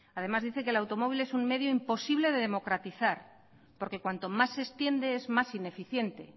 además dice que el automóvil es un medio imposible de democratizar porque cuanto más se extiende es más ineficiente